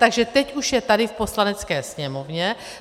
Takže teď už je tady v Poslanecké sněmovně.